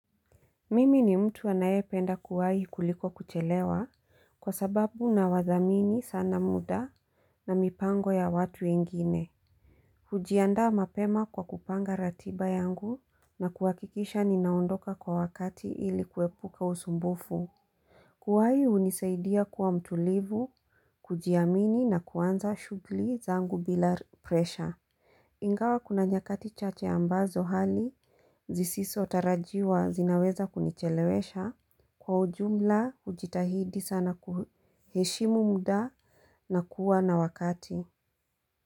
Mimi ni mtu anaye penda kuwai kuliko kuchelewa kwa sababu nawadhamini sana muda na mipango ya watu ingine kujianda mapema kwa kupanga ratiba yangu na kuhakikisha ninaondoka kwa wakati ili kuepuka usumbufu Kuwai hunisaidia kuwa mtulivu kujiamini na kuanza shugli zangu bila presha Ingawa kuna nyakati chache ambazo hali zisiso tarajiwa zinaweza kunichelewesha kwa ujumla hujitahidi sana kuheshimu muda na kuwa na wakati.